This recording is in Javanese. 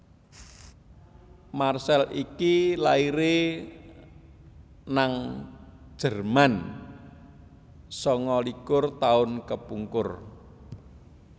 Marcel iki laire nang Jerman sanga likur tahun kepungkur